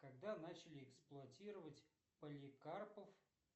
когда начали эксплуатировать поликарпов